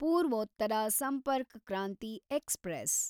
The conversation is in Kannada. ಪೂರ್ವೋತ್ತರ ಸಂಪರ್ಕ್ ಕ್ರಾಂತಿ ಎಕ್ಸ್‌ಪ್ರೆಸ್